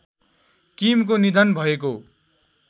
किमको निधन भएको